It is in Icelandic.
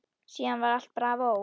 Síðan var allt bravó.